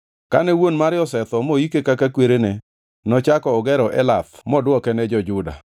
Kane wuon mare osetho moike kaka kwerene, nochako ogero Elath moduoke ne jo-Juda.